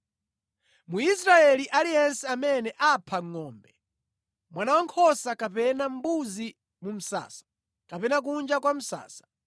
Mwisraeli aliyense amene apha ngʼombe, mwana wankhosa kapena mbuzi mu msasa kapena kunja kwa msasa,